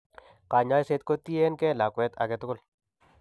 Kanyaiset ko tien gee lakwet aketugul